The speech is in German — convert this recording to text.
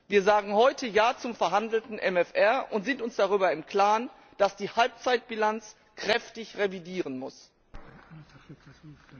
Wir sagen heute Ja zum verhandelten MFR und sind uns darüber im Klaren, dass nach der Halbzeitbilanz kräftig revidiert werden muss.